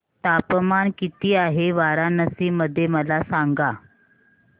तापमान किती आहे वाराणसी मध्ये मला सांगा